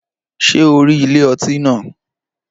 Ṣé o rí ilé ọtí náà?